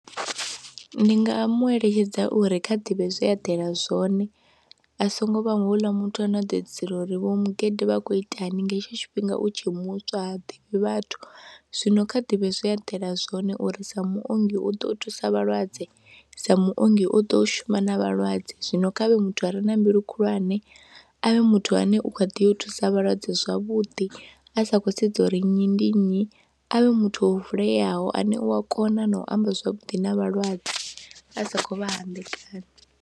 Ndi nga mu eletshedza uri kha ḓivhe zwe eḓela zwone a songo vha houḽa muthu ane a ḓo edzisela uri vho mugede vha khou itani nga hetsho tshifhinga u tshe muswa ha ḓivhi vhathu, zwino kha ḓivhe zwe a eḓela zwone uri sa muongi u ḓo u thusa vhalwadze, sa muongi o ḓo shuma na vhalwadze. Zwino kha vhe muthu a re na mbilu khulwane, a vhe muthu ane u kha ḓi yo thusa vhalwadze zwavhuḓi a sa khou sedza uri nnyi ndi nnyi, a vhe muthu o vuleyaho ane u a kona na u amba zwavhuḓi na vhalwadze a sa khou vha hambekanya.